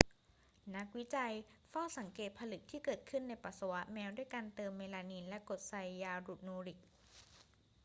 นักวิจัยเฝ้าสังเกตผลึกที่เกิดขึ้นในปัสสาวะแมวด้วยการเติมเมลามีนและกรดไซยานูริก